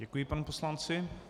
Děkuji panu poslanci.